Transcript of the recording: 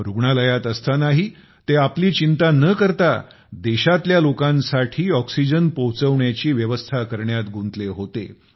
रुग्णालयात असतानाही ते आपली चिंता न करता देशातल्या लोकांसाठी ऑक्सीजन पोहोचवण्याची व्यवस्था करण्यात गुंतले होते